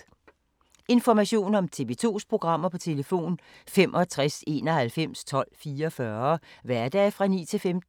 Information om TV 2's programmer: 65 91 12 44, hverdage 9-15.